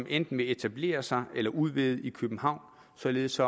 enten vil etablere sig eller udvide i københavn således